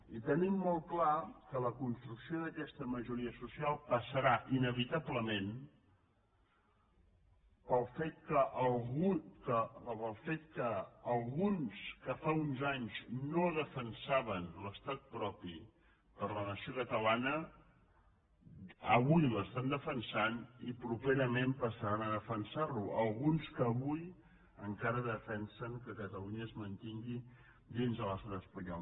i tenim molt clar que la construcció d’aquesta majoria social passarà inevitablement pel fet que alguns que fa uns anys no defensaven l’estat propi per a la nació catalana avui l’estan defensant i properament passaran a defensar lo alguns que avui encara defensen que catalunya es mantingui dins de l’estat espanyol